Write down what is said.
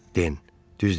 Den, düz deyirsən.